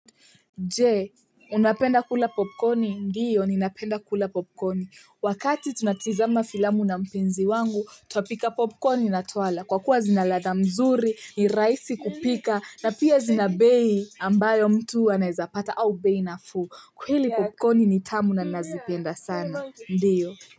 Je, unapenda kula popcorni? Ndiyo, ninapenda kula popkoni. Wakati tunatizama filamu na mpenzi wangu, tuapika popkoni na twala. Kwa kuwa zinaladha mzuri, ni rahisi kupika, na pia zinabei ambayo mtu anaeza pata au bei nafu. Kweli popkoni ni tamu na nazipenda sana. Ndiyo.